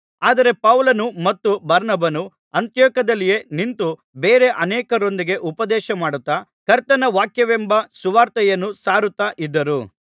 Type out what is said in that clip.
ಆದರೆ ಪೌಲನೂ ಮತ್ತು ಬಾರ್ನಬನೂ ಅಂತಿಯೋಕ್ಯದಲ್ಲಿಯೇ ನಿಂತು ಬೇರೆ ಅನೇಕರೊಂದಿಗೆ ಉಪದೇಶಮಾಡುತ್ತಾ ಕರ್ತನ ವಾಕ್ಯವೆಂಬ ಸುವಾರ್ತೆಯನ್ನು ಸಾರುತ್ತಾ ಇದ್ದರು